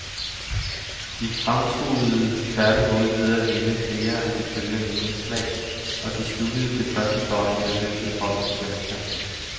De fremturede tværtimod ved at vinde flere af de følgende indslag, og de sluttede det første døgn med løbets højeste pointtal.